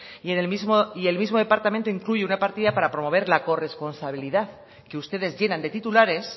y el mismo departamento incluye una partida para promover la corresponsabilidad que ustedes llenan de titulares